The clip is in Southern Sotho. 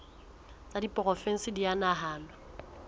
tsa diporofensi di a nahanwa